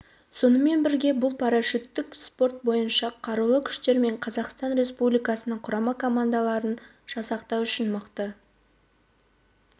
сонымен бірге бұл парашюттік спорт бойынша қарулы күштер мен қазақстан республикасының құрама командаларын жасақтау үшін мықты